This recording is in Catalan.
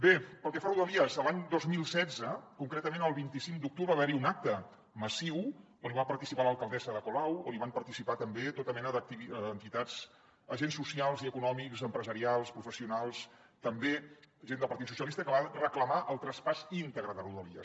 bé pel que fa a rodalies l’any dos mil setze concretament el vint cinc d’octubre va haver hi un acte massiu on hi va participar l’alcaldessa ada colau on hi van participar també tota mena d’entitats agents socials i econòmics empresarials professionals també gent del partit socialista que va reclamar el traspàs íntegre de rodalies